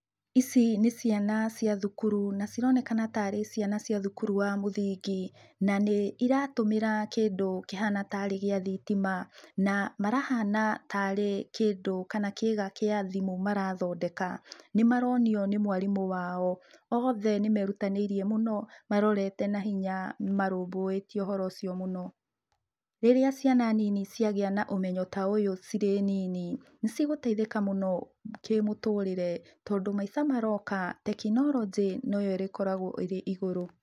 Ici nĩ ciana cia thukuru na cironekana tarĩ ciana cia thukuru wa mũthingi, na nĩ iratũmĩra kĩndũ kĩhana tarĩ gĩa thitima na marahana tarĩ kĩndũ kana kĩga kĩa thimũ marathondeka, nĩmaronio ni mwarimũ wao, othe nĩmerutanĩrie mũno marorete nahinya marũbũyũtie ũhoro ũcio mũno. Rĩrĩa ciana nini ciagĩa na ũmenyo ta ũyũ cirĩ nini niciĩgũteitheka mũno kĩmũtũrire, tondũ maica maroka tekinorojĩ noyo ĩgũkorũo ĩigũrũ.